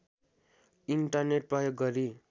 internet प्रयोग गरी